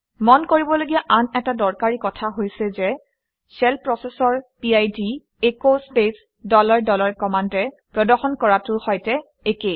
মন কৰিবলগীয়া আন এটা দৰকাৰী কথা হৈছে যে শ্বেল প্ৰচেচৰ PID as space dollar dollar কমাণ্ডে প্ৰদৰ্শন কৰাটোৰ সৈতে একে